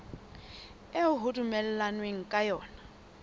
eo ho dumellanweng ka yona